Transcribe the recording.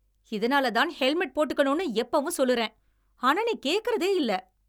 இதனாலதான் ஹெல்மெட் போட்டுக்கணும்னு எப்பவும் சொல்லுறேன். ஆனா நீ கேக்குறதே இல்ல.